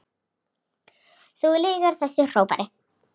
Þú lýgur þessu, hrópaði